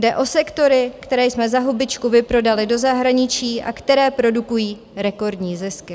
Jde o sektory, které jsme za hubičku vyprodali do zahraničí a které produkují rekordní zisky.